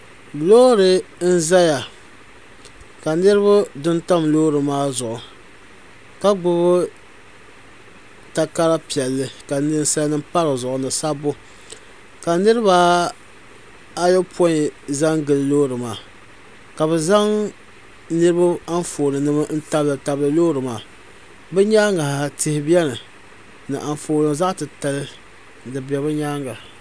lori n zaya ka niriba du n tam lori maa zuɣ' ka gbabi takara piɛli ka nɛsanim padi zuɣ' ni sabu ka niribaayupui za m gili lori maa ka be zaŋ niriba anƒɔni nima tabitabi gili lori maa bɛ nyɛŋa tihi bɛni ni anƒɔni zaɣ' titali